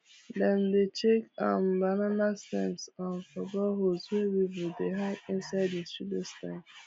dem dey check um banana stems um for boreholes wey weevils dey hide inside the pseudostem